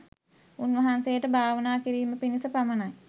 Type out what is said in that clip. උන්වහන්සේට භාවනා කිරීම පිණිස පමණයි.